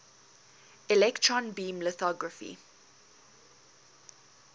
electron beam lithography